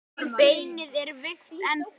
Beinið er veikt ennþá.